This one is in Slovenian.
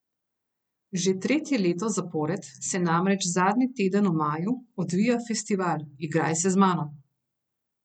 Že tretje leto zapored se namreč zadnji teden v maju odvija festival Igraj se z mano.